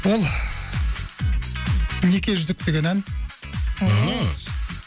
ол неке жүзік деген ән ммм